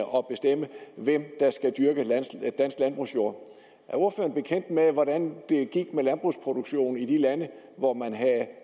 og bestemme hvem der skal dyrke dansk landbrugsjord er ordføreren bekendt med hvordan det gik med landbrugsproduktionen i de lande hvor man havde